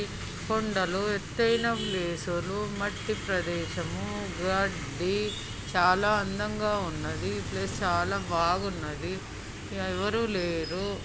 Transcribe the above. కొండలు ఎత్తైన వేసారు. మట్టి ప్రదేశము గడ్డి ఈ చాలా అందంగా ఉన్నది. ప్లే చాలా బాగున్నది. ఎవరు లేరు.